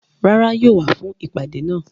Rárá, yóò wá fún ìpàdé náà